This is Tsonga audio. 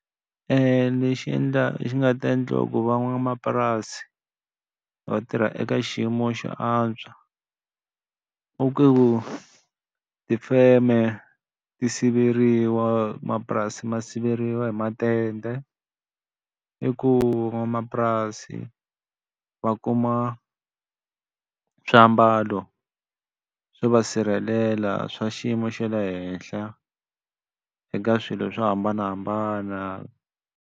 Lexi endla lexi nga ta endla ku van'wamapurasi va tirha eka xiyimo xa antswa, u ku tifeme ti siveriwa mapurasi ma siveriwa hi matende, i ku van'wamapurasi va kuma swiambalo swo va sirhelela swa xiyimo xa le henhla, eka swilo swo hambanahambana.